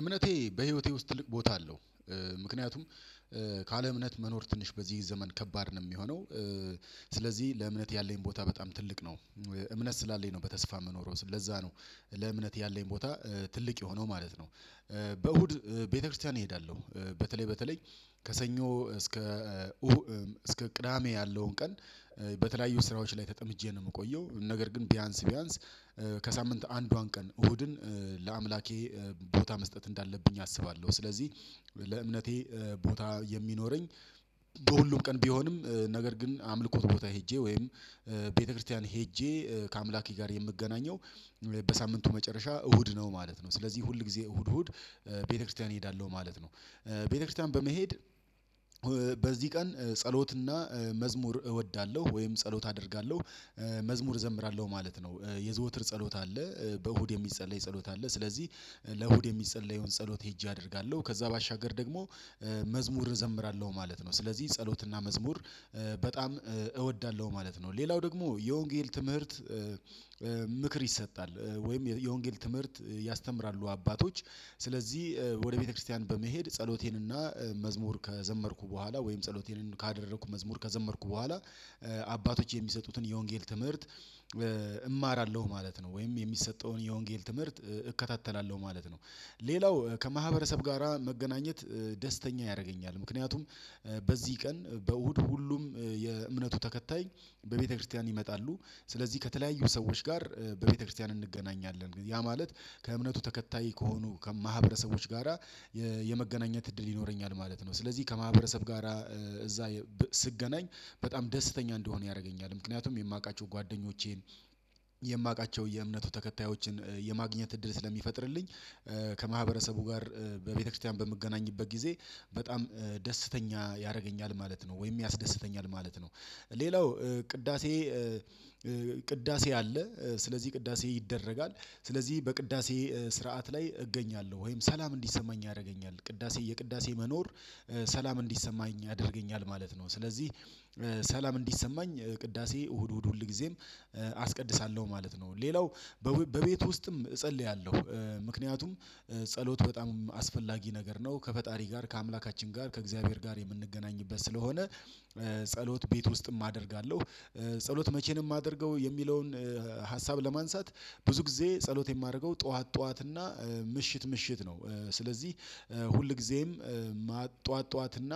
እምነቴ በህይወቴ ውስጥ ትልቅ ቦታ አለው። ምክንያቱም ካለ እምነት መኖር ትንሽ በዚህ ዘመን ከባድ ነው የሚሆነው። ስለዚህ ለእምነት ያለኝ ቦታ በጣም ትልቅ ነው። እምነት ስላለኝ ነው በተስፋ የምኖረው። ለዛ ነው ለእምነት ያለኝ ቦታ ትልቅ የሆነው ማለት ነው። በእሁድ ቤተክርስቲያን እሄዳለሁ። በተለይ በተለይ ከሰኞ እስከ ቅዳሜ ያለውን ቀን በተለያዩ ስራዎች ላይ ተጠምጄ ነው። የምቆየው ነገር ግን ቢያንስ ቢያንስ ከሳምንት አንዷን ቀን እሁድን ለአምላኬ ቦታ መስጠት እንዳለብኝ አስባለሁ። ስለዚህ ለእምነቴ ቦታ የሚኖረኝ በሁሉም ቀን ቢሆንም ነገር ግን አምልኮት ቦታ ሄጄ ወይም ቤተክርስቲያን ሄጄ ከአምላኪ ጋር የምገናኘው በሳምንቱ መጨረሻ እሁድ ነው ማለት ነው። ስለዚህ ሁል ጊዜ እሁድ እሁድ ቤተክርስቲያን እሄዳለሁ ማለት ነው። ቤተክርስቲያን በመሄድ በዚህ ቀን ጸሎትና መዝሙር እወዳለሁ ወይም ጸሎት አደርጋለሁ። መዝሙር እዘምራለሁ ማለት ነው። የዘወትር ጸሎት አለ። በእሁድ የሚጸለይ ጸሎት አለ። ስለዚህ ለእሁድ የሚጸለየውን ጸሎት ሄጄ አደርጋለሁ። ከዛ ባሻገር ደግሞ መዝሙር እዘምራለሁ ማለት ነው። ስለዚህ ጸሎትና መዝሙር በጣም እወዳለሁ ማለት ነው። ሌላው ደግሞ የወንጌል ትምህርት ምክር ይሰጣል ወይም የወንጌል ትምህርት ያስተምራሉ አባቶች። ስለዚህ ወደ ቤተክርስቲያን በመሄድ ጸሎቴንና መዝሙር ከዘመርኩ በኋላ ወይም ጸሎቴንን ካደረኩ መዝሙር ከዘመርኩ በኋላ አባቶች የሚሰጡትን የወንጌል ትምህርት እማራለሁ ማለት ነው። ወይም የሚሰጠውን የወንጌል ትምህርት እከታተላለሁ ማለት ነው። ሌላው ከማህበረሰብ ጋራ መገናኘት ደስተኛ ያደርገኛል። ምክንያቱም በዚህ ቀን በእሁድ ሁሉም የእምነቱ ተከታይ በቤተክርስቲያን ይመጣሉ። ስለዚህ ከተለያዩ ሰዎች ጋር በቤተክርስቲያን እንገናኛለን። ያ ማለት ከእምነቱ ተከታይ ከሆኑ ከማህበረሰቦች ጋራ የመገናኘት እድል ይኖረኛል ማለት ነው። ስለዚህ ከማህበረሰብ ጋራ እዛ ስገናኝ በጣም ደስተኛ እንድሆን ያደርገኛል። ምክንያቱም የማውቃቸው ጓደኞቼን የማውቃቸው የእምነቱ ተከታዮችን የማግኘት እድል ስለሚፈጥርልኝ ከማህበረሰቡ ጋር በቤተክርስቲያን በምገናኝበት ጊዜ በጣም ደስተኛ ያደርገኛል ማለት ነው። ወይም ያስደስተኛል ማለት ነው። ሌላው ቅዳሴ ቅዳሴ አለ። ስለዚህ ቅዳሴ ይደረጋል። ስለዚህ በቅዳሴ ስርዓት ላይ እገኛለሁ። ወይም ሰላም እንዲሰማኝ ያደርገኛል ቅዳሴ፤ የቅዳሴ መኖር ሰላም እንዲሰማኝ ያደርገኛል ማለት ነው። ስለዚህ ሰላም እንዲሰማኝ ቅዳሴ እሁድ እሁድ ሁል ጊዜም አስቀድሳለሁ ማለት ነው። ሌላው በቤት ውስጥም እጸልያለሁ። ምክንያቱም ጸሎት በጣም አስፈላጊ ነገር ነው። ከፈጣሪ ጋር ከአምላካችን ጋር ከእግዚአብሔር ጋር የምንገናኝበት ስለሆነ ጸሎት ቤት ውስጥም አደርጋለሁ። ጸሎት መቼ ነው የማደርገው የሚለውን ሀሳብ ለማንሳት ብዙ ጊዜ ጸሎት የማደርገው ጠዋት ጠዋት እና ምሽት ምሽት ነው። ስለዚህ ሁልጊዜም ጠዋት ጠዋት እና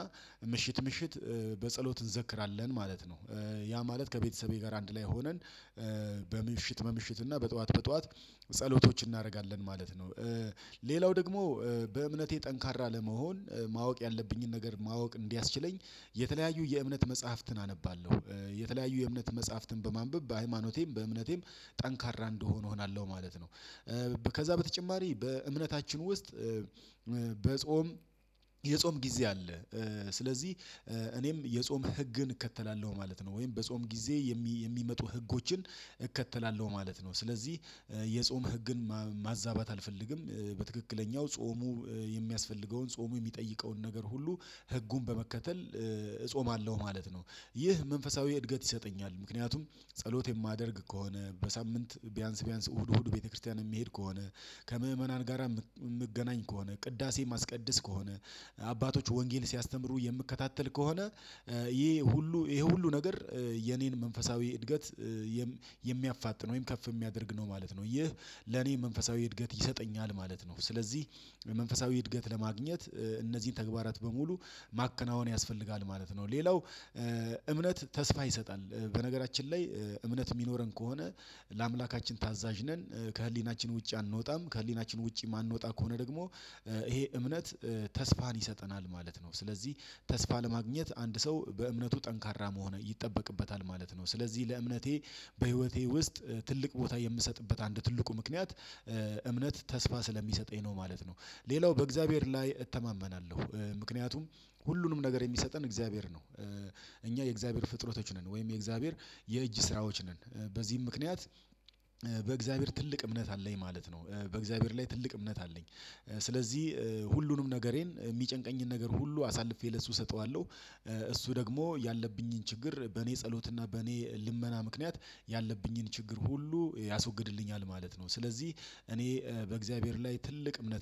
ምሽት ምሽት በጸሎት እንዘክራለን ማለት ነው። ያ ማለት ከቤተሰቤ ጋር አንድ ላይ ሆነን በምሽት በምሽት እና በጧት በጧት ጸሎቶችን እናደርጋለን ማለት ነው። ሌላው ደግሞ በእምነቴ ጠንካራ ለመሆን ማወቅ ያለብኝን ነገር ማወቅ እንዲያስችለኝ የተለያዩ የእምነት መጽሐፍትን አነባለሁ። የተለያዩ የእምነት መጽሐፍትን በማንበብ በሃይማኖቴም በእምነቴም ጠንካራ እንድሆን እሆናለሁ ማለት ነው። ከዛ በተጨማሪ በእምነታችን ውስጥ በጾም የጾም ጊዜ አለ። ስለዚህ እኔም የጾም ህግን እከተላለሁ ማለት ነው። ወይም በጾም ጊዜ የሚመጡ ህጎችን እከተላለሁ ማለት ነው። ስለዚህ የጾም ህግን ማዛባት አልፈልግም። በትክክለኛው ጾሙ የሚያስፈልገውን ጾሙ የሚጠይቀውን ነገር ሁሉ ህጉን በመከተል እጾማለሁ ማለት ነው። ይህ መንፈሳዊ እድገት ይሰጠኛል። ምክንያቱም ጸሎት የማደርግ ከሆነ በሳምንት ቢያንስ ቢያንስ እሁድ እሁድ ቤተክርስቲያን የሚሄድ ከሆነ ከምእመናን ጋራ የምገናኝ ከሆነ ቅዳሴ ማስቀደስ ከሆነ አባቶች ወንጌል ሲያስተምሩ የምከታተል ከሆነ ይሄ ሁሉ ይሄ ሁሉ ነገር የኔን መንፈሳዊ እድገት የሚያፋጥን ወይም ከፍ የሚያደርግ ነው ማለት ነው። ይህ ለኔ መንፈሳዊ እድገት ይሰጠኛል ማለት ነው። ስለዚህ መንፈሳዊ እድገት ለማግኘት እነዚህን ተግባራት በሙሉ ማከናወን ያስፈልጋል ማለት ነው። ሌላው እምነት ተስፋ ይሰጣል። በነገራችን ላይ እምነት የሚኖረን ከሆነ ለአምላካችን ታዛዥ ነን። ከህሊናችን ውጪ አንወጣም። ከህሊናችን ውጪ የማንወጣ ከሆነ ደግሞ ይሄ እምነት ተስፋን ይሰጠናል ማለት ነው። ስለዚህ ተስፋ ለማግኘት አንድ ሰው በእምነቱ ጠንካራ መሆን ይጠበቅበታል ማለት ነው። ስለዚህ ለእምነቴ በህይወቴ ውስጥ ትልቅ ቦታ የምሰጥበት አንድ ትልቁ ምክንያት እምነት ተስፋ ስለሚሰጠኝ ነው ማለት ነው። ሌላው በእግዚአብሔር ላይ እተማመናለሁ። ምክንያቱም ሁሉንም ነገር የሚሰጠን እግዚአብሔር ነው። እኛ የእግዚአብሔር ፍጥረቶች ነን። ወይም የእግዚአብሔር የእጅ ስራዎች ነን። በዚህም ምክንያት በእግዚአብሔር ትልቅ እምነት አለኝ ማለት ነው። በእግዚአብሔር ላይ ትልቅ እምነት አለኝ። ስለዚህ ሁሉንም ነገሬን የሚጨንቀኝን ነገር ሁሉ አሳልፌ ለሱ እሰጠዋለሁ። እሱ ደግሞ ያለብኝን ችግር በእኔ ጸሎት እና በእኔ ልመና ምክንያት ያለብኝን ችግር ሁሉ ያስወግድልኛል ማለት ነው። ስለዚህ እኔ በእግዚአብሔር ላይ ትልቅ እምነት